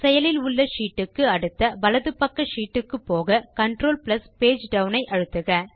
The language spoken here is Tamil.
செயலில் உள்ள ஷீட் க்கு அடுத்த வலது பக்க ஷீட் க்கு போகControl பேஜ் டவுன் ஐ அழுத்துக